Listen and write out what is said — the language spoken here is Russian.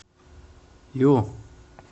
ю